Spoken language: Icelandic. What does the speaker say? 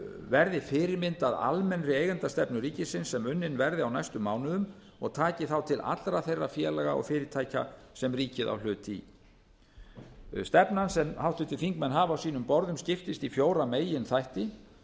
verði fyrirmynd að almennri eigendastefnu ríkisins sem unnin verði á næstu mánuðum og taki þá til allra þeirra félaga og fyrirtækja sem ríkið á hlut í stefnan sem háttvirtir þingmenn hafa á sínum borðum skiptist í fjóra meginþætti